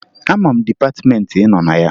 Ama m dịpatịmeentị ị nọ na ya